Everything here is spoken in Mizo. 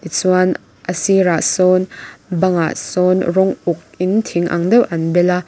chuan a sir ah sawn bang ah sawn rawng uk in thing ang deuh an bel a.